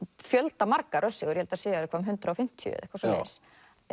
fjöldamargar ég held þær séu eitthvað um hundrað og fimmtíu eitthvað svoleiðis